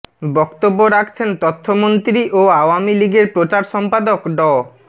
বক্তব্য রাখছেন তথ্যমন্ত্রী ও আওয়ামী লীগের প্রচার সম্পাদক ড